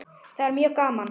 Það er mjög gaman.